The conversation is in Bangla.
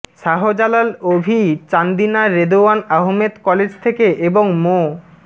শাহজালাল অভি চান্দিনা রেদোয়ান আহমেদ কলেজ থেকে এবং মো